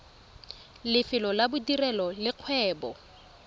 lefelo la bodirelo le kgwebo